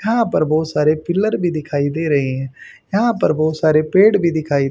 यहां पर बहुत सारे पिलर भी दिखाई दे रहे हैं यहां पर बहुत सारे पेड़ भी दिखाई--